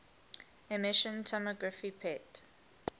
emission tomography pet